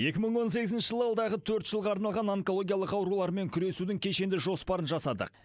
екі мың он сегізінші жылы алдағы төрт жылға арналған онкологиялық аурулармен күресудің кешенді жоспарын жасадық